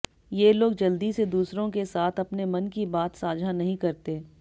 ये लोग जल्दी से दूसरों के साथ अपने मन की बात साझा नहीं करते